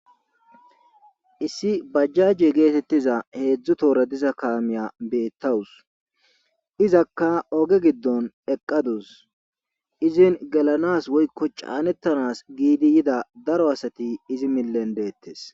issi bajjajje geetettiza heedzdzu toora diza kaamiya beettawus izakka oge giddon eqqadus izin gelanas woykko caanettanas giidi yida daro asati izi miten deettes